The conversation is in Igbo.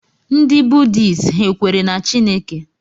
Ndị Buddhists ha kwere na Chineke?